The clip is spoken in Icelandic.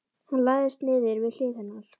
Hann lagðist niður við hlið hennar.